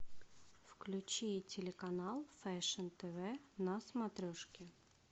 включи телеканал фэшн тв на смотрешке